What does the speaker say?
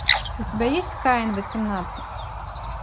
у тебя есть каин восемнадцать